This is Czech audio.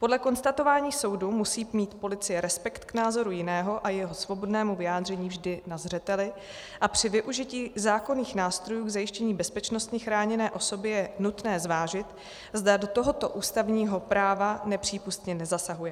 Podle konstatování soudu musí mít policie respekt k názoru jiného a jeho svobodnému vyjádření vždy na zřeteli a při využití zákonných nástrojů k zajištění bezpečnosti chráněné osoby je nutné zvážit, zda do tohoto ústavního práva nepřípustně nezasahuje.